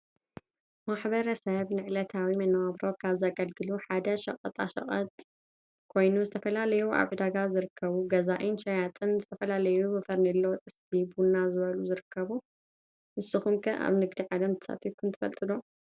ማሕበረሰብ ንዕለታዊ መነባብሮ ካብ ዘገልግሉ ሐደ ሸቀጣ ሸቀጥ ኮይኑ ዝተፈላለዮ አብ ዕደጋ ዝርከቡ ገዛኢን ሸያጥን ዝተፈላለየዮ ፈርኔሎ ፣ ጥሰቲ ፣ ቡና ዝበሉ ይርከቡ ንሰኩም ከ አብ ንግዲ ዓለም ተሳትፍኩም ትፈልጥዶ ?